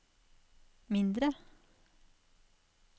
mindre